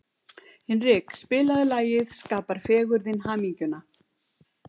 Hinrik, spilaðu lagið „Skapar fegurðin hamingjuna“.